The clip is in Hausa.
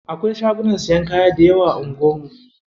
Akwai shagunan siyan kaya dayawa a anguwar mu.